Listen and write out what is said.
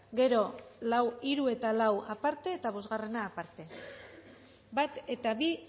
gero hiru eta lau aparte eta bosgarrena aparte bat eta bi